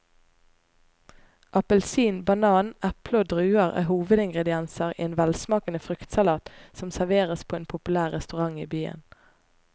Appelsin, banan, eple og druer er hovedingredienser i en velsmakende fruktsalat som serveres på en populær restaurant i byen.